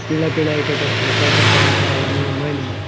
पीला पीला के ठा खल का कटा है ठा कोणी मायने --